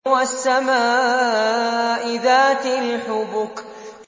وَالسَّمَاءِ ذَاتِ الْحُبُكِ